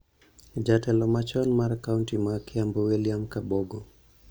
Jatelo machon mar kaonti ma Kiambu William Kabogo,